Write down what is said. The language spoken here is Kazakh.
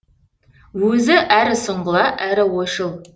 өзі әрі сұңғыла әрі ойшыл